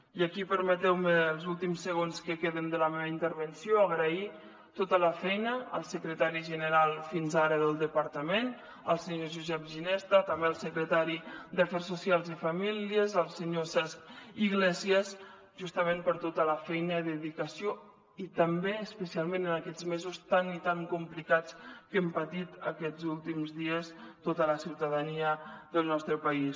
i aquí permeteu me els últims segons que queden de la meva intervenció agrair tota la feina al secretari general fins ara del departament el senyor josep ginesta també al secretari d’afers socials i famílies el senyor cesc iglesies justament per tota la feina i dedicació i també especialment en aquests mesos tan i tan complicats que hem patit aquests últims dies tota la ciutadania del nostre país